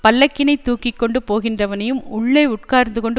பல்லக்கினைத் தூக்கி கொண்டு போகின்றவனையும் உள்ளே உட்கார்ந்து கொண்டு